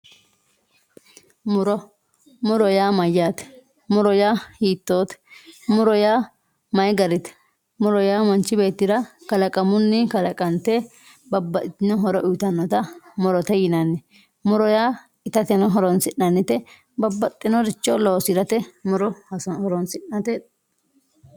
muro. muro yaa mayyaate muro yaa hiittoote muro yaa mayii garite muro yaa manchi beettira kalaqamunni kalaqante babbaxxitino horo uyiitannote murote yinanni muro yaa itateno horoonsi'nannite babbaxxinoricho loosirate muro horoonsi'nate.